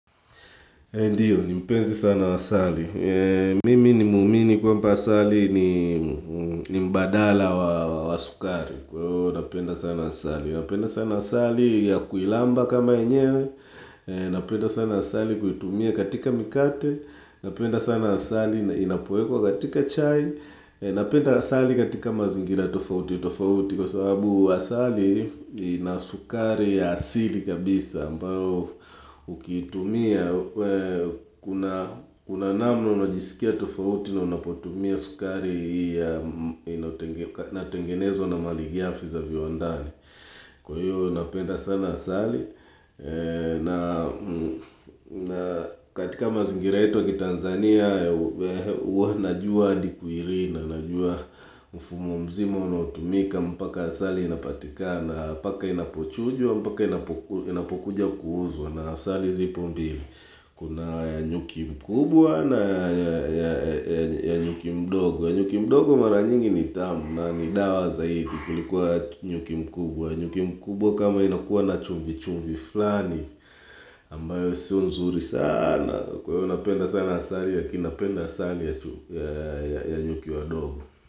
Ndiyo, ni mpenzi sana asali. Mimi ni muumini kwamba asali ni ni mbadala wa wa sukari. Kwa hivyo, napenda sana asali. Napenda sana asali ya kuilamba kama enyewe. Napenda sana asali kuitumia katika mikate. Napenda sana asali inapoekwa katika chai. Napenda asali katika mazingira tofauti. Tofauti kwa sababu asali ina sukari ya asili kabisa ambayo ukiitumia kuna kuna namna unajisikia tofauti na unapotumia sukari hii ya inatengenezo na malighafi za viwandani. Kwa hiyo napenda sana asali na katika mazingira yetu ya kiTanzania ua najua adi kwiirinda najua mfumo mzima unaotu mika mpaka asali inapatikana paka inapochujwa, mpaka inapokuja kuuzwa na asali zipo mbili. Kuna ya nyuki mkubwa na ya nyuki mdogo. Nyuki mdogo mara nyingi ni tamu na ni dawa zaidi kuliko ya nyuki mkubwa. Nyuki mkubwa kama inakuwa na chumvi chumvi flani ambayo sio nzuri saanaa. Kwa hivyo napenda sana asali lakini napenda asali ya nyuki wadogo.